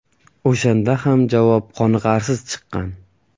O‘shanda ham javob qoniqarsiz chiqqan.